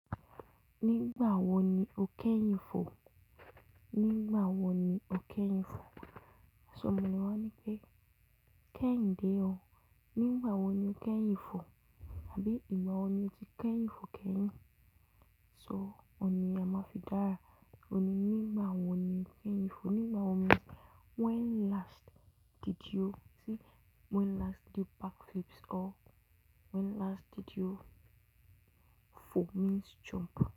Nígbà wo ni o kẹ́yìn fò? Nígbà wo ni o kẹ́yìn fò? Aṣọ mi mọ má ni wọ́n ní pé kẹ́yìn dé o. Nígbà wo ni o kẹ́yìn fò? Àbí ìgbà wo ni o ti kẹ́yìn fò kẹ́yìn? So, ọ̀ní am'afidára, ọ̀ní nígbà wo ni o kẹ́yìn fò? Nígbà wo ni-- when last did you, see when last did you back flips or when last did you, fò means jump.